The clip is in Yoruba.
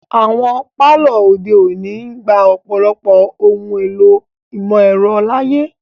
Awọn palọ ode oni ngba ọ̀pọlọpọ ohun èlò imọ-ẹrọ laaye.